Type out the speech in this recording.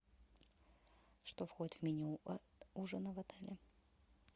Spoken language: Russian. что входит в меню ужина в отеле